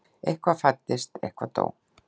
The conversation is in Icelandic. Eitthvað fæddist, eitthvað dó.